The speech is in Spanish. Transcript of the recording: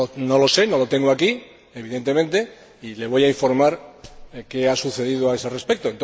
No lo sé, no lo tengo aquí, evidentemente, y le voy a informar de qué ha sucedido a ese respecto.